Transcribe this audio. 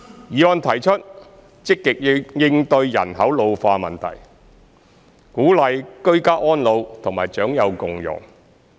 議案提出積極應對人口老化問題，鼓勵居家安老和長幼共融。